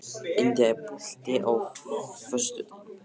India, er bolti á föstudaginn?